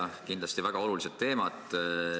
Need on kindlasti väga olulised teemad.